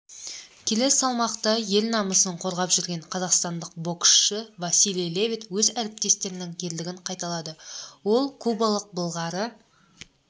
келі салмақта ел намысын қорғап жүрген қазақстандық боксшы василий левит өз әріптестерінің ерлігін қайталады ол кубалықбылғары